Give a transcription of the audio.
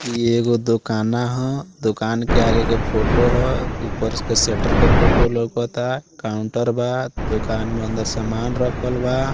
इ एगो दुकाना हो दूकान के आगे के फोटो हो ऊपर के सेटर के फोटो लोकाता काउंटर बा दूकान में अंदर सामान रखल बा।